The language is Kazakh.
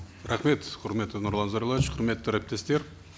рахмет құрметті нұрлан зайроллаевич құрметті әріптестер